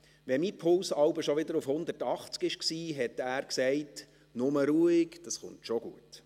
Wenn mein Puls manchmal schon wieder auf 180 war, sagte er: «Nur mit der Ruhe, das kommt schon gut.